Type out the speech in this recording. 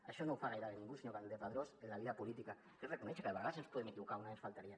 això no ho fa gairebé ningú senyor campdepadrós en la vida política que és reconèixer que de vegades ens podem equivocar només faltaria